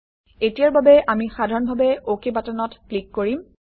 এতিয়াৰ বাবে আমি সাধাৰণভাৱে অকে বাটনত ক্লিক কৰিম